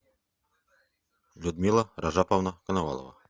людмила ражаповна коновалова